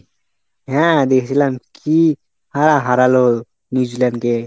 হ্যাঁ দেখেছিলাম কি হারা হারালো New Zealand কে।